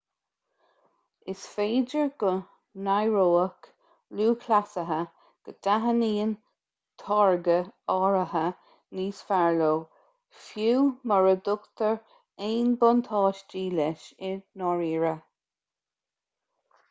is féidir go n-aireoidh lúthchleasaithe go dtaitníonn táirge áirithe níos fearr leo fiú mura dtugtar aon bhuntáistí leis i ndáiríre